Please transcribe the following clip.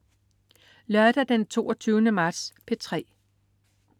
Lørdag den 22. marts - P3: